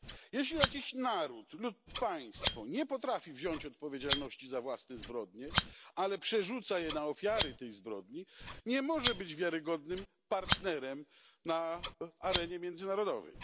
Jeśli jakiś naród lub państwo nie potrafi wziąć odpowiedzialności za własne zbrodnie, ale przerzuca ją na ofiary tej zbrodni, nie może być wiarygodnym partnerem na arenie międzynarodowej.